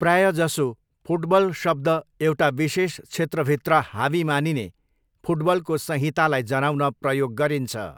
प्रायजसो, 'फुटबल' शब्द एउटा विशेष क्षेत्रभित्र हावी मानिने फुटबलको संहितालाई जनाउन प्रयोग गरिन्छ।